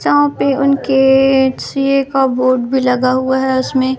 जहां पे उनके सी_ए का बोर्ड भी लगा है उसमें--